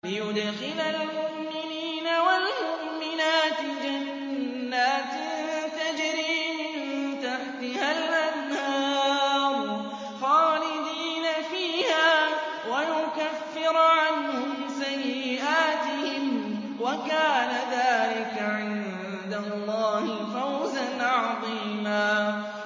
لِّيُدْخِلَ الْمُؤْمِنِينَ وَالْمُؤْمِنَاتِ جَنَّاتٍ تَجْرِي مِن تَحْتِهَا الْأَنْهَارُ خَالِدِينَ فِيهَا وَيُكَفِّرَ عَنْهُمْ سَيِّئَاتِهِمْ ۚ وَكَانَ ذَٰلِكَ عِندَ اللَّهِ فَوْزًا عَظِيمًا